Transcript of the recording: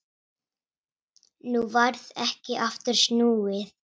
Nú varð ekki aftur snúið.